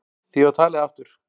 Því var talið aftur.